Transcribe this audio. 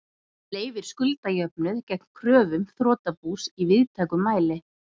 sem leyfir skuldajöfnuð gegn kröfum þrotabús í víðtækum mæli.